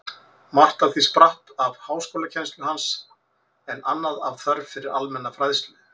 Margt af því spratt af háskólakennslu hans, en annað af þörf fyrir almenna fræðslu.